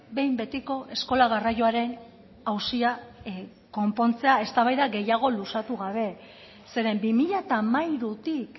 behin betiko eskola garraioaren auzia konpontzea eztabaida gehiago luzatu gabe zeren bi mila hamairutik